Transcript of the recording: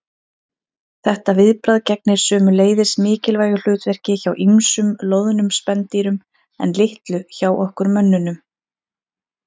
Þetta viðbragð gegnir sömuleiðis mikilvægu hlutverki hjá ýmsum loðnum spendýrum en litlu hjá okkur mönnunum.